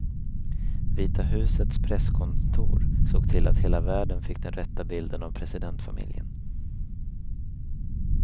Vita husets presskontor såg till att hela världen fick den rätta bilden av presidentfamiljen.